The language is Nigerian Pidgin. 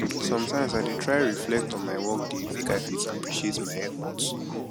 sometimes i dey try reflect on my workday make i fit appreciate my effort